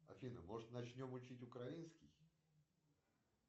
афина может начнем учить украинский